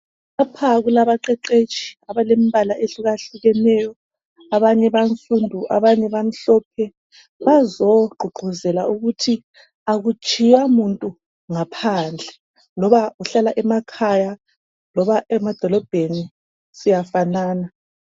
Lapha kulabaqeqetshi abalembala ehlukahlukeneyo. Abanye bansundu abanye bamhlophe. Bazogqugquzela ukuthi akutshiywa muntu ngaphandle loba uhlala emakhaya loba emadolobheni, siyafanana.